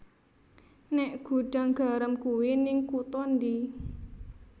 Nek Gudang Garam kui ning kuto ndi